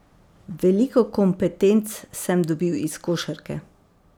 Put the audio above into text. Veliko kompetenc sem dobil iz košarke.